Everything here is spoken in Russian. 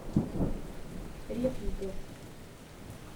репников